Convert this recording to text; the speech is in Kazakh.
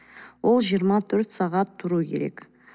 ол жиырма төрт сағат тұруы керек